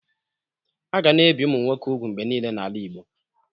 A ga na-ebi ụmụ nwoke úgwù mgbe niile n'ala Igbo.